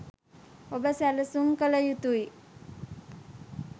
ඔබ සැලසුම් කල යුතුයි.